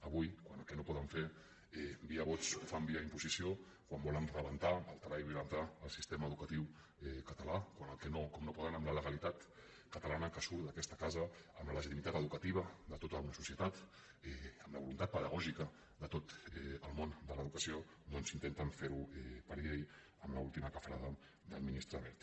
avui quan el que no poden fer via vots ho fan via imposició quan volen rebentar alterar i violentar el sistema educatiu català quan com no poden amb la legalitat catalana que surt d’aquesta casa amb la legitimitat educativa de tota una societat amb la voluntat pedagògica de tot el món de l’educació doncs intenten fer ho per llei amb l’última cafrada del ministre wert